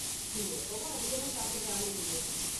நீ எப்பவும் அதிகமா சாப்பிடுற ஆள் இல்லயே?